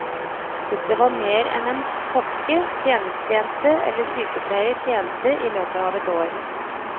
Dette var mer enn en kokke, tjenestejente eller sykepleier tjente i løpet av ett år.